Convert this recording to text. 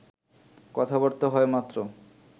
কথাবার্তা হয় মাত্র